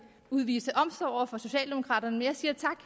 udvise omsorg over for socialdemokraterne men jeg siger tak